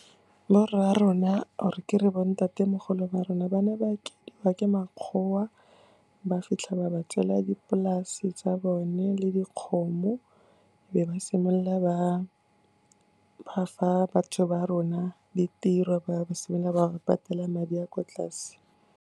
Borra rona or ke re bo ntatemogolo ba rona ba ne ba akediwa ke makgowa, ba fitlha ba ba tswela dipolase tsa bone le dikgomo, be ba simolola ba fa batho ba rona ditiro, ba simolola ba ba patela madi a kwa tlase.